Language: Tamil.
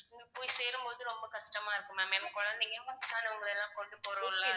போய் சேரும்போது ரொம்ப கஷ்டமா இருக்கும் ma'am ஏன்னா குழந்தைங்க வயசானவங்கல எல்லாம் கொண்டு போறோம்ல.